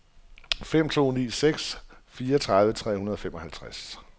fem to ni seks fireogtredive tre hundrede og femoghalvtreds